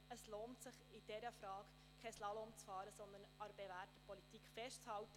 Ich glaube, es lohnt sich, in dieser Frage keinen Slalom zu fahren, sondern an der bewährten Politik festzuhalten.